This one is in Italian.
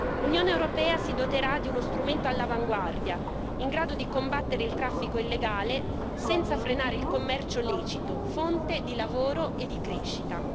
L'Unione europea si doterà di uno strumento all'avanguardia, in grado di combattere il traffico illegale senza frenare il commercio lecito, fonte di lavoro e di crescita.